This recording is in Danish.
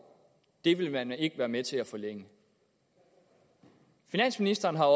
vil man ikke være med til at forlænge finansministeren har